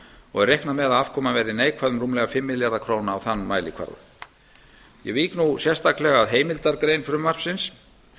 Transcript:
og er reiknað með að afkoman verði neikvæð um rúmlega fimm milljarða króna á þann mælikvarða ég vík nú sérstaklega að heimildargrein frumvarpsins